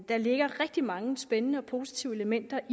der ligger rigtig mange spændende og positive elementer